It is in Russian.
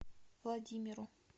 владимиру